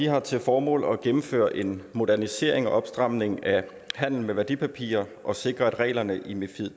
har til formål at gennemføre en modernisering og opstramning af handel med værdipapirer og sikre at reglerne i mifid